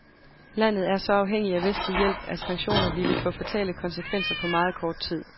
Landet er så afhængig af vestlig hjælp, at sanktioner ville få fatale konsekvenser på meget kort tid.